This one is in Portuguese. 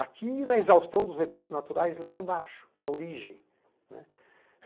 Aqui na exaustão dos recursos naturais, lá embaixo, na origem.